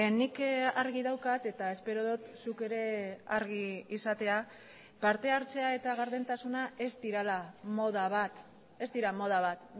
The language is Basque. nik argi daukat eta espero dut zuk ere argi izatea partehartzea eta gardentasuna ez direla moda bat ez dira moda bat